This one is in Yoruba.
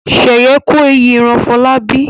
Sheyi ko èeyi ran Folabi.